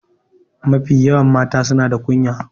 Mafi yawan mata suna da kunya.